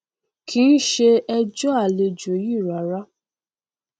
kìí ṣe ẹjọ àlejò yìí rárá